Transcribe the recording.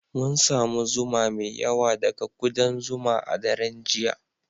Mun samu zuma mai yawa daga kudan zuma a daren jiya